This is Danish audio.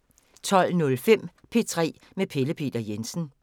12:05: P3 med Pelle Peter Jensen